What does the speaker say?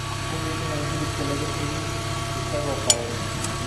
Hubi inaan hilibka laga tegin isagoo qaawan.